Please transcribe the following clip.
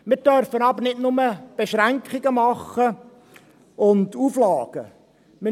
Wir dürfen aber nicht nur Beschränkungen und Auflagen machen.